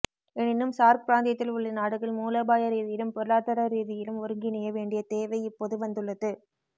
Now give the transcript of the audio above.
எனினும் சார்க் பிராந்தியத்தில் உள்ள நாடுகள் மூலோபாய ரீதியிலும் பொருளாதார ரீதியிலும் ஒருங்கிணைய வேண்டிய தேவை இப்போது வந்துள்ளது